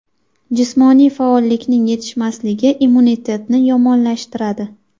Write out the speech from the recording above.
Jismoniy faollikning yetishmasligi immunitetni yomonlashtiradi.